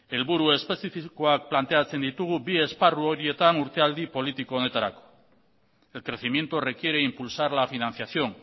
helburu espezifikoak planteatzen ditugu bi esparru horietan urtealdi politiko honetarako el crecimiento requiere impulsar la financiación